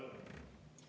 Aitäh!